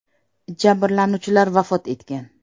Jabrlanuvchilar vafot etgan.